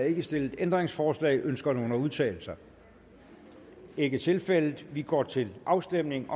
ikke stillet ændringsforslag ønsker nogen at udtale sig det er ikke tilfældet og vi går til afstemning